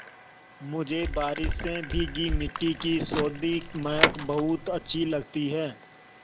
मुझे बारिश से भीगी मिट्टी की सौंधी महक बहुत अच्छी लगती है